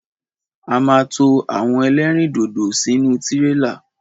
A ma to àwọn ẹlẹ́rìndòdò sínú tírélà.